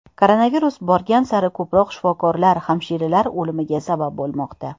Koronavirus borgan sari ko‘proq shifokorlar, hamshiralar o‘limiga sabab bo‘lmoqda.